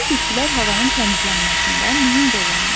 Yaşıl bitkilər havanın təmizlənməsində mühüm rol oynayır.